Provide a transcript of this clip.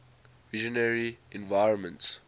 visionary environments